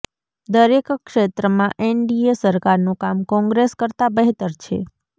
દરેક ક્ષેત્રમાં એનડીએ સરકારનુ કામ કોંગ્રેસ કરતા બહેતર છે